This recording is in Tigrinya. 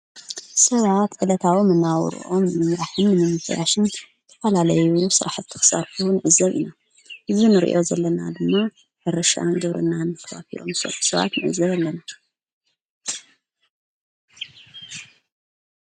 ሰብኣት ዕለታዊ መነበብሮ ንንያሕም ምምተያሽን ተዓላለይብሉ ሠራሕት ተኽሳፍቡ ንእዘብ ኢና ይዙንርእዮ ዘለና ድማ ሕርሻን ደብርናን ክፊሎምሠትሰዓት ምእዘብ ኣለን።